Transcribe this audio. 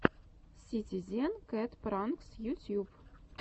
ситизен кэт пранкс ютьюб